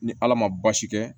Ni ala ma baasi kɛ